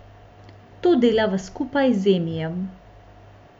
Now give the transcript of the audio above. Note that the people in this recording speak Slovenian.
To delava skupaj z Emijem.